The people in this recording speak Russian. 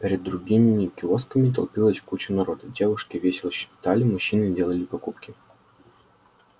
перед другими киосками толпилась куча народа девушки весело щебетали мужчины делали покупки